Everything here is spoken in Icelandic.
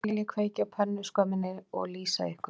Nú skal ég kveikja á pönnuskömminni og lýsa ykkur